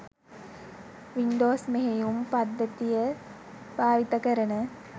Windows මෙහයුම් පද්ධතිය භාවිත කරන